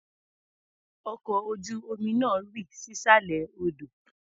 Ọkọ̀ ojú-omi náà rì sísàlẹ̀ odò.